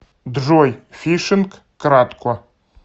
джой фишинг кратко